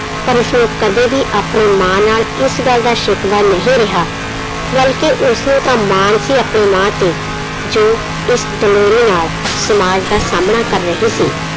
ਪਰ ਉਸਨੂੰ ਕਦੇ ਵੀ ਆਪਣੀ ਮਾਂ ਨਾਲ ਇਸ ਗੱਲ ਦਾ ਸਿਕਵਾ ਨਹੀਂ ਰਿਹਾ ਬਲਕਿ ਉਸਨੂੰ ਤਾਂ ਮਾਣ ਸੀ ਆਪਣੀ ਮਾਂ ਤੇ, ਜੋ ਇਸ ਦਲੇਰੀ ਨਾਲ ਸਮਾਜ ਦਾ ਸਾਹਮਣਾ ਕਰ ਰਹੀ ਸੀ।